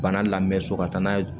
Bana lamɛn so ka taa n'a ye